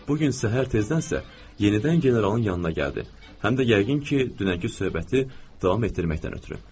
Bu gün səhər tezdənsə yenidən generalın yanına gəldi, həm də yəqin ki, dünənki söhbəti davam etdirməkdən ötrü.